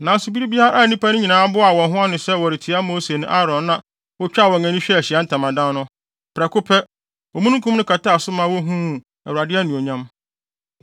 Nanso bere a nnipa no nyinaa boaa wɔn ho ano sɛ wɔretia Mose ne Aaron na wotwaa wɔn ani hwɛɛ Ahyiae Ntamadan no, prɛko pɛ, omununkum no kataa so ma wohuu Awurade anuonyam.